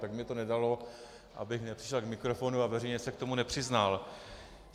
Tak mi to nedalo, abych nepřišel k mikrofonu a veřejně se k tomu nepřiznal.